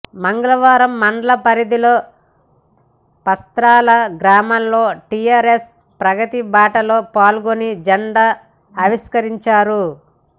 మంగళవారం మండల పరిధిలోని పస్తాల గ్రామంలో టిఆర్ఎస్ ప్రగతి బాటలో పాల్గొని జెండా ఆవిష్కరించారు